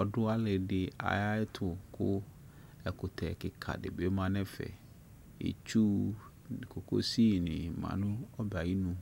ɔdu ali di ayu ɛtu ku ɛkutɛ kika di bi ma nu ɛfɛ itsu kokosini ma nu ɔbɛ ayinu